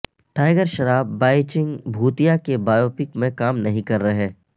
tiger Shroff Baichung Bhutia کی biopic میں کام نہیں کررہے